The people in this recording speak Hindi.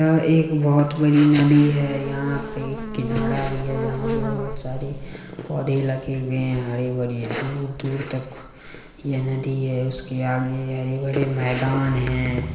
यह एक बहुत बड़ी नदी है। यहाँ पे एक किनारा भी है। जहाँ पर बहुत सारे पौधे लगे हुए हैं। हरे-भरी दूर-दूर तक ये नदी है। उसके आगे हरे-भरे मैदान हैं।